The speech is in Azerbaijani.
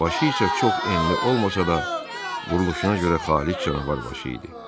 Başı isə çox enli olmasa da, quruluşuna görə xaliç canavar başı idi.